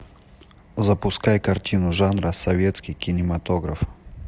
запускай картину жанра советский кинематограф